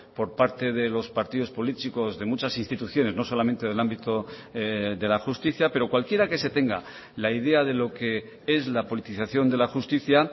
por parte de los partidos políticos de muchas instituciones no solamente del ámbito de la justicia pero cualquiera que se tenga la idea de lo que es la politización de la justicia